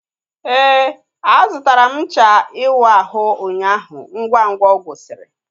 Éè, a zụtara m ncha iwu ahụ ụnyaahụ ngwa ngwa ọ gwusiri